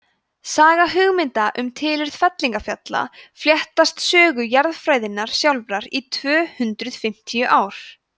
saga hugmynda um tilurð fellingafjalla fléttast sögu jarðfræðinnar sjálfrar í tvö hundruð fimmtíu ár